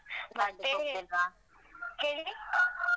ಮತ್ತೆ ಹೇಳಿ